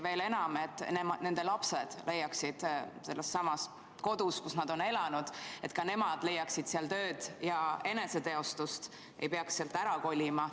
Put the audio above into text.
Veel enam: et ka nende lapsed leiaksid sellessamas kodus, kus nad on elanud, tööd ja eneseteostust ega peaks sealt ära kolima.